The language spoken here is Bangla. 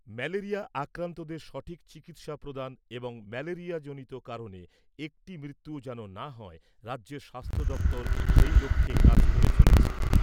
ম্যালেরিয়া আক্রান্তদের সঠিক চিকিৎসা প্রদান এবং ম্যালেরিয়াজনিত কারনে একটি মৃত্যুও যেন না হয় রাজ্যের স্বাস্থ্য দপ্তর সেই লক্ষ্যে কাজ করে চলেছে।